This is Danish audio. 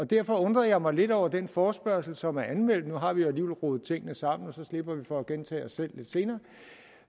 derfor undrede jeg mig lidt over den forespørgsel som er anmeldt nu har vi alligevel rodet tingene sammen og så slipper vi for at gentage os selv lidt senere